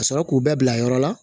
Ka sɔrɔ k'u bɛɛ bila yɔrɔ la